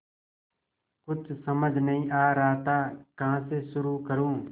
कुछ समझ नहीं आ रहा था कहाँ से शुरू करूँ